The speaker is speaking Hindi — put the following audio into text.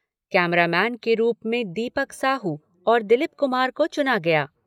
कैमरामैन के रूप में दीपक साहू और दिलीप कुमार को चुना गया।